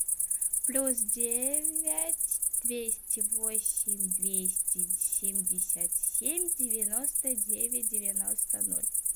плюс девять двести восемь двести семьдесят семь девяносто девять девяносто ноль